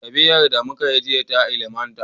Tafiyar da muka yi jiya ta ilimantar.